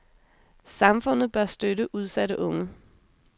Samfundet bør støtte udsatte unge.